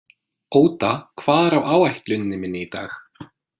Óda, hvað er á áætluninni minni í dag?